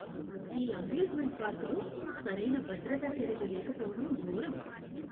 ఈ అమ్యూజ్మెంట్ పార్కులో సరైన భద్రతా చర్యలు లేకపోవడం ఘోరం.